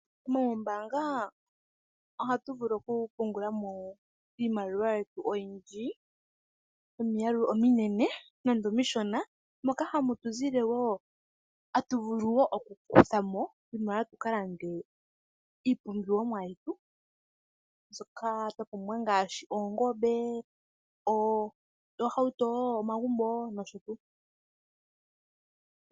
Moombaanga ohatu vulu okupungula iimaliwa yetu oyindji, yomiyalu ominene nenge omishona. Moka hatu vulu wo okukutha mo iimaliwa tu ka lande iipumbiwa yetu mbyoka twa pumbwa ngaashi oongombe, oohauto, omagumbo nosho tuu.